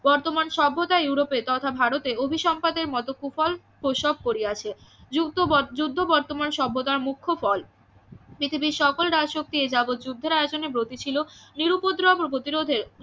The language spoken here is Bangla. বর্তমান সভ্যতা ইউরোপের তথা ভারতে অভিসম্পাদের মতো কুফল প্রসব করিয়াছে যুদ্ধ যুদ্ধ বর্তমান সভ্যতা মুখ্য ফল পৃথিবীর সকল রাজশক্তি এ জগৎ যুদ্ধের আয়তনে গতি ছিল নিরুপদ্রব ও প্রতিরোধে